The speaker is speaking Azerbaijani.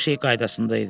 Hər şey qaydasında idi.